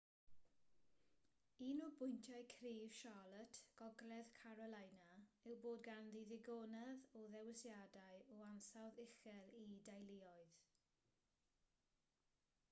un o bwyntiau cryf charlotte gogledd carolina yw bod ganddi ddigonedd o ddewisiadau o ansawdd uchel i deuluoedd